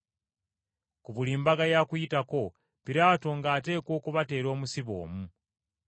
Ku buli mbaga ya Kuyitako, Piraato ng’ateekwa okubateera omusibe omu.